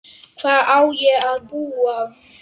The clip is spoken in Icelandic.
Hvar á ég að búa?